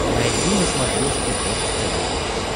найди на смотрешке бокс тв плюс